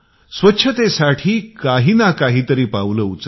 स्वच्छतेसाठी काहीनकाही तरी पावले उचलला